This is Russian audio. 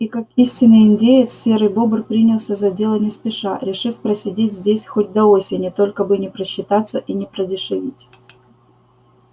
и как истинный индеец серый бобр принялся за дело не спеша решив просидеть здесь хоть до осени только бы не просчитаться и не продешевить